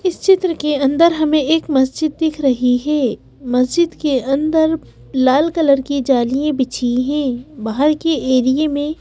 इस चित्र के अंदर हमें एक मस्जिद दिख रही है मस्जिद के अंदर लाल कलर की जालियाँ बिछी हैं बाहर के एरिए में --